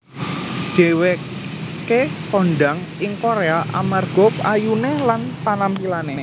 Dheweké kondhang ing Korea amarga ayuné lan panampilané